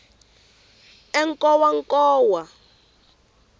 enkowankowa